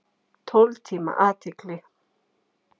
Tólf tíma athygli.